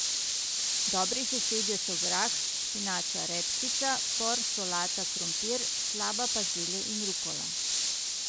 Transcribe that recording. Dobri sosedje so grah, špinača, redkvica, por, solata, krompir, slaba pa zelje in rukola.